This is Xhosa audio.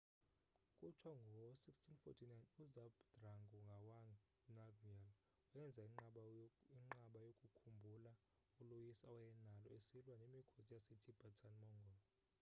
kuthiwa ngo-1649 uzhabdrung ngawang namgyel wenza inqaba yokukhumbula uloyiso awayenalo esilwa nemikhosi yasetibetan-mongol